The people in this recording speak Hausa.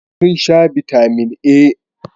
Sun sha Bitamin E